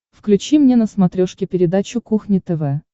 включи мне на смотрешке передачу кухня тв